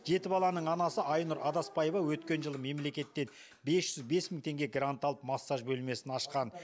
жеті баланың анасы айнұр адаспаева өткен жылы мемлекеттен бес жүз бес мың теңге грант алып массаж бөлмесін ашқан